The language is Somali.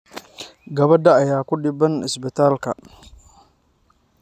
Gabadha ayaa ku dhibban isbitaalka.